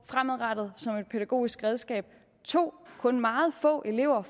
fremadrettet som et pædagogisk redskab og 2 kun meget få elever